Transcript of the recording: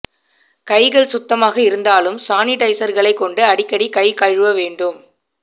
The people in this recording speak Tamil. கைகள் சுத்தமாக இருந்தாலும் சானிடைசர்களை கொண்டு அடிக்கடி கை கழுவ வேண்டும்